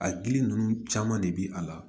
A gili ninnu caman de bi a la